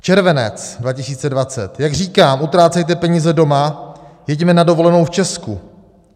Červenec 2020: Jak říkám, utrácejte peníze doma, jeďme na dovolenou v Česku.